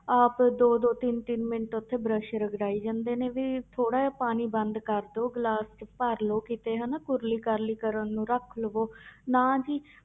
ਆਪ ਦੋ ਦੋ ਤਿੰਨ ਤਿੰਨ ਮਿੰਟ ਉੱਥੇ ਬਰਸ਼ ਰਗੜਾਈ ਜਾਂਦੇ ਨੇ ਵੀ ਥੋੜ੍ਹਾ ਜਿਹਾ ਪਾਣੀ ਬੰਦ ਕਰ ਦਓ, ਗਲਾਸ 'ਚ ਭਰ ਲਓ ਕਿਤੇ ਹਨਾ ਕੁਰਲੀ ਕਰਲੀ ਕਰਨ ਨੂੰ ਰੱਖ ਲਓ ਨਾ ਜੀ।